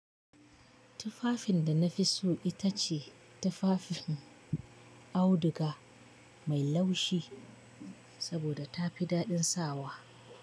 Tufafin da na fi so ita ce tufafin auduga mai laushi saboda ta fi daɗin sawa.